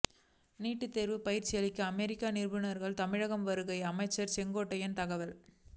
NEET தேர்வு பயிற்சியளிக்க அமெரிக்க நிபுணர்கள் தமிழகம் வருகை அமைச்சர் செங்கோட்டையன் தகவல்